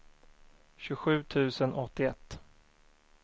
tjugosju tusen åttioett